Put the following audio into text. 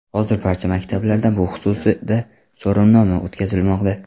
Hozir barcha maktablarda bu xususida so‘rovnoma o‘tkazilmoqda.